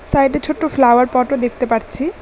সাইডে ছোট ফ্লাওয়ার পটও দেখতে পারছি।